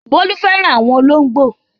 Bólú fẹ́ràn àwọn olóńgbò.